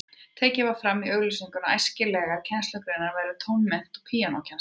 Tekið var fram í auglýsingunni að æskilegar kennslugreinar væru tónmennt og píanókennsla.